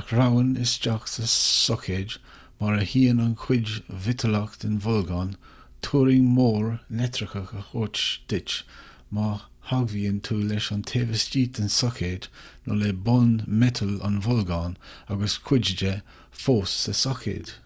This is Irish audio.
a shreabhann isteach sa soicéad mar a shuíonn an chuid mhiotalach den bholgán turraing mhór leictreach a thabhairt duit má theagmhaíonn tú leis an taobh istigh den soicéad nó le bonn miotail an bholgáin agus cuid de fós sa soicéad